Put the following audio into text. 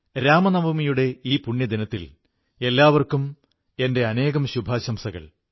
രാമനവമിയുടെ ഈ പുണ്യദിനത്തിൽ എല്ലാവർക്കും എന്റെ അനേകം ശുഭാശംസകൾ